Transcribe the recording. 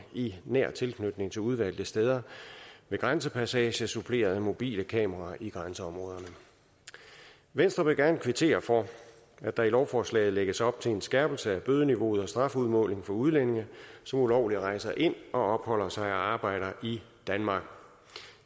i nær tilknytning til udvalgte steder ved grænsepassager suppleret af mobile kameraer i grænseområderne venstre vil gerne kvittere for at der i lovforslaget lægges op til en skærpelse af bødeniveauet og strafudmålingen for udlændinge som ulovligt rejser ind opholder sig og arbejder i danmark